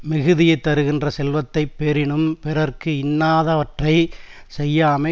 மிகுதியைத் தருகின்ற செல்வத்தை பெறினும் பிறர்க்கு இன்னாதவற்றை செய்யாமை